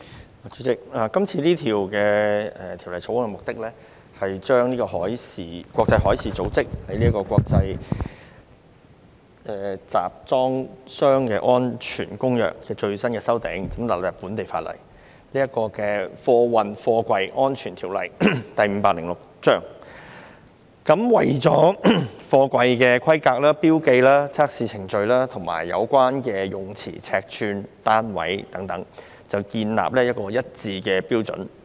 代理主席，《2019年運貨貨櫃條例草案》的目的，是將國際海事組織的《國際集裝箱安全公約》的最新修訂納入本地法例，即《運貨貨櫃條例》，為貨櫃的規格、標記、測試程序、詞彙、尺寸和單位等，建議一套劃一標準。